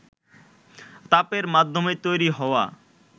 তাপের মাধ্যমে তৈরি হওয়া